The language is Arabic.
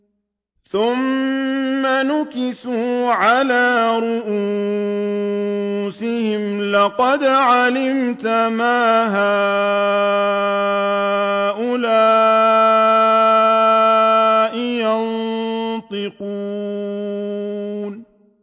ثُمَّ نُكِسُوا عَلَىٰ رُءُوسِهِمْ لَقَدْ عَلِمْتَ مَا هَٰؤُلَاءِ يَنطِقُونَ